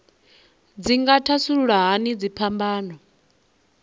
dzi nga thasulula hani dziphambano